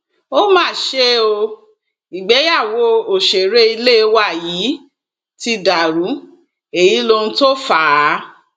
ó mà ṣe o ìgbéyàwó òṣèré ilé wa yìí ti dàrú èyí lóhun tó fà á